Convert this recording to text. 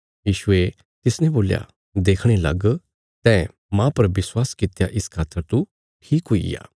यीशुये तिसने बोल्या देखणे लग तैं माह पर विश्वास कित्या इस खातर तू ठीक हुईग्या